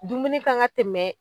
Dumuni kan ka tɛmɛ